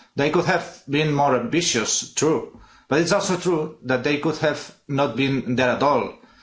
They could have been more ambitious true, but it's also true that they could have not been there at all.